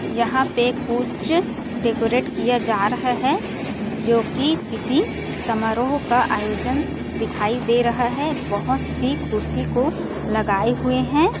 यहाँ पे कुछ डेकोरेट किया जा रहा है जोकि किसी समारोह का आयोजनत दिखाई दे रहा है बहोत -सी कुर्सी को लगाए हुए हैं ।